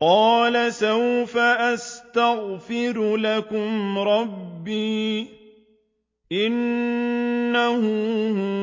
قَالَ سَوْفَ أَسْتَغْفِرُ لَكُمْ رَبِّي ۖ إِنَّهُ